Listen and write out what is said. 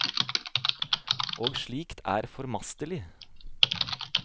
Og slikt er formastelig.